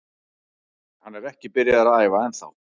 Hann er ekki byrjaður að æfa ennþá.